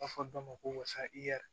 A fɔ dɔ ma ko wasa i ya